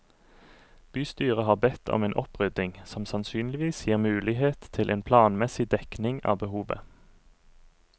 Bystyret har bedt om en opprydding, som sannsynligvis gir mulighet til en planmessig dekning av behovet.